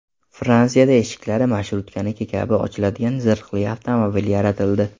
Fransiyada eshiklari marshrutkaniki kabi ochiladigan zirhli avtomobil yaratildi.